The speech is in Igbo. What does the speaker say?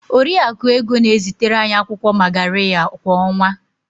Oriakụ Ego na-ezitere anyị akwụkwọ magarya kwa ọnwa.